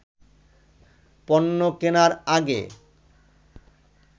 পণ্য কেনার আগে